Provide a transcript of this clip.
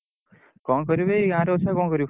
କଣ କରିବି ଏଇ ଗାଁ ରେ ଅଛି ଆଉ କଣ କରିବୁ?